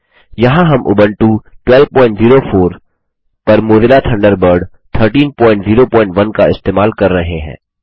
यहाँ हम उबंटू 1204 पर मोज़िला थंडरबर्ड 1301 इस्तेमाल कर रहे हैं